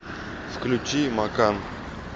включи макан